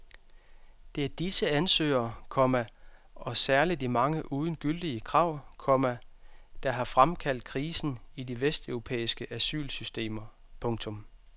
Det er disse ansøgere, komma og særligt de mange uden gyldige krav, komma der har fremkaldt krisen i de vesteuropæiske asylsystemer. punktum